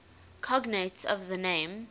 cognates of the name